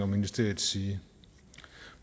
ministeriets side